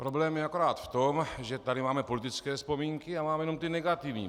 Problém je akorát v tom, že tady máme politické vzpomínky a máme jenom ty negativní.